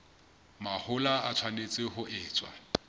mahola e tshwanetse ho etswa